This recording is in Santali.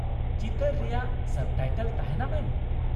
ᱪᱤᱛᱟᱹᱨ ᱨᱮᱭᱟᱜ ᱥᱟᱵ ᱴᱟᱭᱴᱮᱞ ᱛᱟᱦᱮᱱᱟ ᱢᱮᱢ ᱾